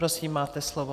Prosím, máte slovo.